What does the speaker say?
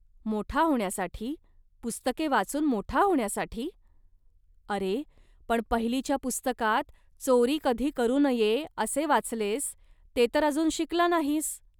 मोठा होण्यासाठी, पुस्तके वाचून मोठा होण्यासाठी. अरे, पण पहिलीच्या पुस्तकात 'चोरी कधी करू नये', असे वाचलेस, ते तर अजून शिकला नाहीस